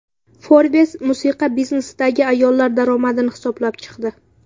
Forbes musiqa biznesidagi ayollar daromadini hisoblab chiqdi .